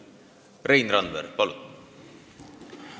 Rein Randver, palun!